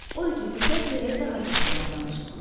Odur ki, fürsət verək daha çox yalan danışsınlar.